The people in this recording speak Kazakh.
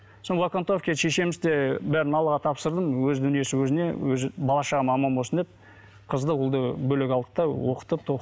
шешеміз де бәрін аллаға тапсырдым өз дүниесі өзіне өзі бала шағам аман болсын деп қызды ұлды бөлек алдыда да оқытып